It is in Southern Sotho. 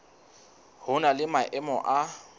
ho na le maemo a